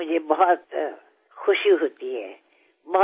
అదే నాకు చాలా ఆనందాన్ని ఇస్తుంది